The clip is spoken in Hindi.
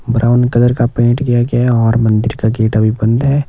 ब्राउन कलर का पेंट किया गया है और मंदिर का गेट अभी बंद है।